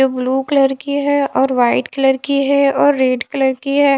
Blue colour की हैं और व्हाइट कलर की हैं और रेड कलर की हैं।